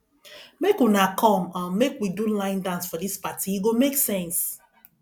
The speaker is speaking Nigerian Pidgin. make una come um make we do line dance for dis party e go make sense